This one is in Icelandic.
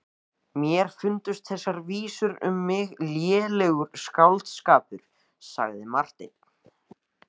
Mér fundust þessar vísur um mig lélegur skáldskapur, sagði Marteinn.